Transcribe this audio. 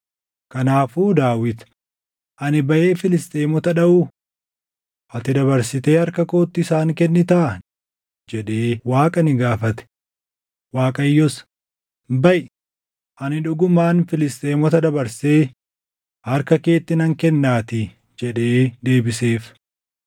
kanaafuu Daawit, “Ani baʼee Filisxeemota dhaʼuu? Ati dabarsitee harka kootti isaan kennitaa?” jedhee Waaqa ni gaafate. Waaqayyos, “Baʼi; ani dhugumaan Filisxeemota dabarsee harka keetti nan kennaatii” jedhee deebiseef.